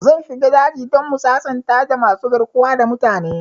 Zan shiga daji dan mu sasanta da masu garkuwa da mutane